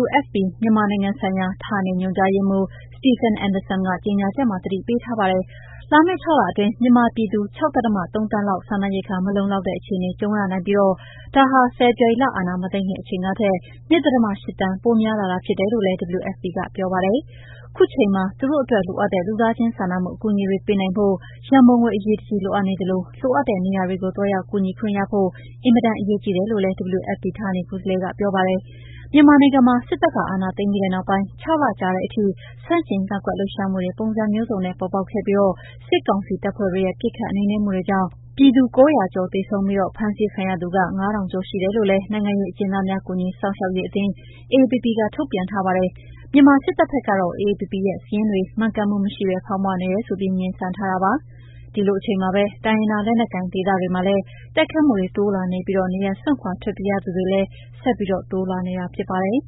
WFP မြန်မာနိုင်ငံဆိုင်ရာ ဌာနေညွှန်ကြားရေးမှူး Stephen Anderson က ကြေညာချက်မှာ သတိပေးထားပါတယ်။ လာမယ့် ၆ လအတွင်း မြန်မာပြည်သူ ၆.၃ သန်းလောက် စားနပ်ရိက္ခာမလုံလောက်တဲ့ အခြေအနေကြုံရနိုင်ပြီး ဒါဟာ ဖေဖော်ဝါရီလ အာဏမသိမ်းခင်အချိန်ကထက် (၂.၈) သန်း ပိုများလာတာဖြစ်တယ်လို့လည်း WFP က ပြောပါတယ်။ ခုချိန်မှာ သူတို့အတွက်လိုအပ်တဲ့ လူသားချင်းစာနာမှု အကူအညီတွေပေးနိုင်ဖို့ ရန်ပုံငွေ အရေးတကြီး လိုအပ်နေသလို လိုအပ်တဲ့နေရာတွေကို သွားရောက် ကူညီခွင့်ရဖို့ အင်မတန် အရေးကြီးတယ်လို့လည်း WFP ဌာနေကိုယ်စားလှယ် Anderson က ပြောပါတယ်။ မြန်မာနိုင်ငံမှာ စစ်တပ်အာဏာသိမ်းပြီးနောက်ပိုင်း ၆ လ ကြာလာတဲ့အထိ ဆန့်ကျင်ကန့်ကွက်လှုပ်ရှားမှုတွေ ပုံစံမျိုးစုံနဲ့ ပေါ်ပေါက်ခဲ့ပြီး စစ်ကောင်စီတပ်ဖွဲ့တွေရဲ့ ပစ်ခတ်နှိမ်နင်းမှုတွေကြောင့် သေဆုံးသူ ၉၀၀ ကျော်၊ ဖမ်းဆီး ထိန်းသိမ်းခံရသူ ၅,၀၀၀ ကျော်ရှိတယ်လို့ နိုင်ငံရေးအကျဉ်းသားများ ကူညီစောင့်ရှောက်ရေးအသင်း AAPP က ထုတ်ပြန်ထားပါတယ်။ မြန်မာစစ်တပ်ဘက်ကတော့ AAPP ရဲ့စာရင်းတွေ မှန်ကန်မှုမရှိဘဲ ဖောင်းပွနေတယ်ဆိုပြီး ငြင်းဆန်ထားတာပါ။ ဒီလိုအချိန်မှာပဲ တိုင်းရင်းသားလက်နက်ကိုင်ဒေသတွေမှာလည်း တိုက်ခိုက်မှုတွေ တိုးလာနေပြီး နေရပ်စွန့်ခွာထွက်ပြေးရသူတွေလည်း ဆက်ပြီး တိုးလာနေတာဖြစ်ပါတယ်